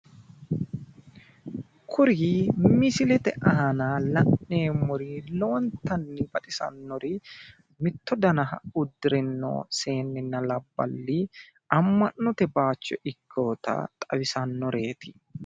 Kuri misilete aana la'neemmori horontanni baxisannori mitto dana uddrino seennenna labballi amma'note baayiicho ikkeeta xawisannoreeti.